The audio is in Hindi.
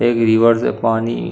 एक रिवर से पानी --